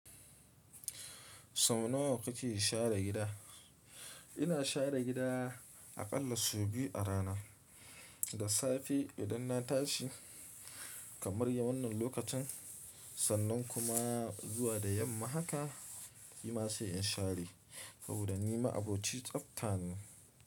Sau nawa kake share gida ina share gida aƙalla sau biyu a rana. Da safe idan na tashi kamar ya wannan lokacin, sannan kuma zuwa da yamma haka. Shima sai in share saboda ni ma'aboci tsaftane.